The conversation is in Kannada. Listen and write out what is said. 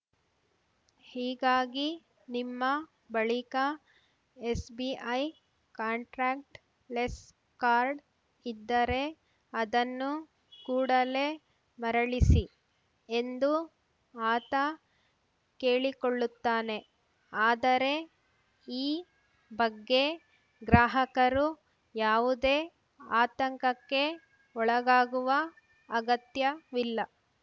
ಹೀಗಾಗಿ ನಿಮ್ಮ ಬಳಿಕ ಎಸ್‌ಬಿಐ ಕಾಂಟ್ರಾಕ್ಟ್ ಲೆಸ್‌ ಕಾರ್ಡ್‌ ಇದ್ದರೆ ಅದನ್ನು ಕೂಡಲೇ ಮರಳಿಸಿ ಎಂದು ಆತ ಕೇಳಿಕೊಳ್ಳುತ್ತಾನೆ ಆದರೆ ಈ ಬಗ್ಗೆ ಗ್ರಾಹಕರು ಯಾವುದೇ ಆತಂಕಕ್ಕೆ ಒಳಗಾಗಾಗುವ ಅಗತ್ಯವಿಲ್ಲ